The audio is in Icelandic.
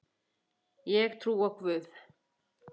Ég trúi á Guð!